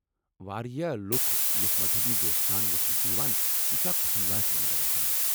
واریاہ لُکھ یِتھۍ مذہبی جوشہٕ سان وُچھِنہِ چھ یوان یہِ چُھ اکھ وُچُھن لایكھ منظر آسان۔